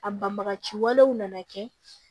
A banbagaci walew nana kɛ